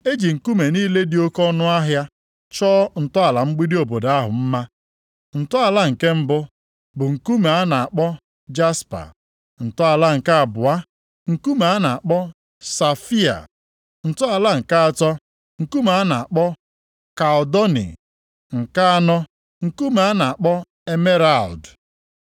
E ji nkume niile dị oke ọnụahịa chọọ ntọala mgbidi obodo ahụ mma. Ntọala nke mbụ, bụ nkume a na-akpọ jaspa, ntọala nke abụọ, nkume a na-akpọ safaia, ntọala nke atọ, nkume a na-akpọ kaldoni, nke anọ, nkume a na-akpọ emeralụdụ,